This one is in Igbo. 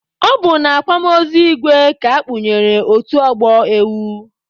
Ọ bụ na akwamozu igwe ka akpụnyere otu ọgbọ ewu.